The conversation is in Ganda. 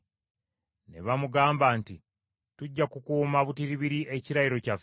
Ne bamugamba nti, “Tujja kukuuma butiribiri ekirayiro kyaffe